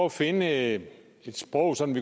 at finde et sprog som